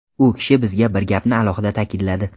U kishi bizga bir gapni alohida ta’kidladi.